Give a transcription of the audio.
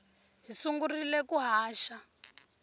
hi sungurile ku haxa